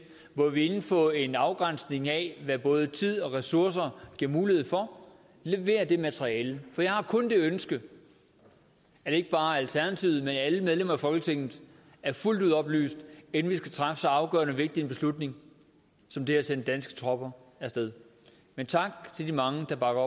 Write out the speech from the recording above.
hvor vi inden for en afgrænsning af hvad både tid og ressourcer giver mulighed for leverer det materiale for jeg har kun det ønske at ikke bare alternativet men alle medlemmer af folketinget er fuldt ud oplyst inden vi skal træffe så afgørende vigtig en beslutning som det at sende danske tropper af sted men tak til de mange der bakker